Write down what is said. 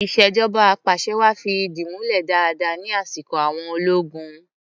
Ìṣèjọba apàṣẹwàá fi ìdí múlẹ̀ dáadáa ní asiko àwọn ológun.